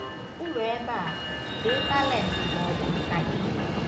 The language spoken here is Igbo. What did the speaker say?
N'okpuru ebe a, dee talent ma ọ bụ nka ị nwere.